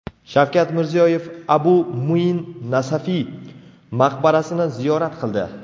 Shavkat Mirziyoyev Abu Muin Nasafiy maqbarasini ziyorat qildi.